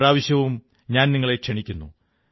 ഇപ്രാവശ്യവും ഞാൻ നിങ്ങളെ ക്ഷണിക്കുന്നു